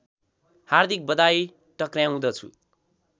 हार्दिक बधाई टक्र्याउँदछु